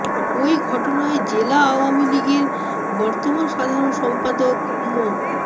ওই ঘটনায় জেলা আওয়ামী লীগের বর্তমান সাধারণ সম্পাদক মো